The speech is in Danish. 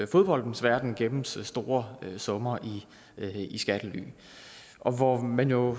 fodboldens verden gemmes store summer i skattely og hvor man jo